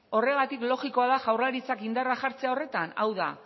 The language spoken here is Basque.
horregatik logikoa da jaurlaritzak indarra jartzea horretan hau da